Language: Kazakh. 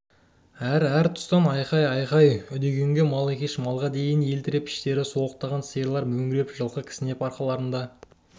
әр-әр тұстан айқай-ұйқай үдегенге мал екеш малға дейін еліріп іштері солықтаған сиырлар мөңіреп жылқы кісінеп арқаларына